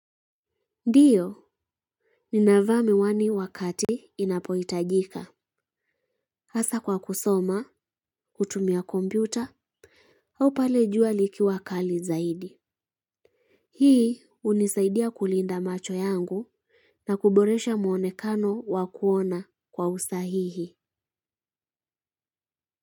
Ndiyo, ninavaa miwani wakati inapoitajika, hasa kwa kusoma, kutumia kompyuta, au pale jua likiwa kali zaidi. Hii unisaidia kulinda macho yangu na kuboresha muonekano wa kuona kwa usahihi.